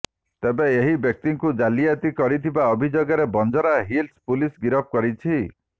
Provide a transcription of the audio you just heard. ତେବେ ଏହି ବ୍ୟକ୍ତିଙ୍କୁ ଜାଲିଆତି କରିଥିବା ଅଭିଯୋଗରେ ବଞ୍ଜାରା ହିଲ୍ସ ପୁଲିସ୍ ଗିରଫ କରିଛି